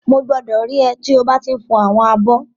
Mo gbọdọ rí é tí o ba ti n fọ àwọn abọ́.